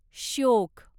Shyok